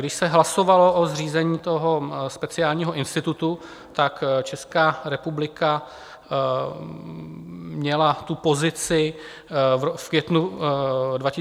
Když se hlasovalo o zřízení toho speciálního institutu, tak Česká republika měla tu pozici v květnu 2021, kdy hlasovala proti.